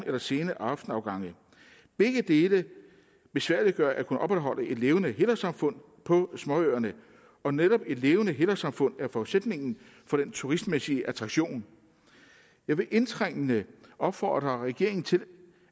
eller sene aftenafgange begge dele besværliggør at kunne opretholde et levende helårssamfund på småøerne og netop et levende helårssamfund er forudsætningen for den turistmæssige attraktion jeg vil indtrængende opfordre regeringen til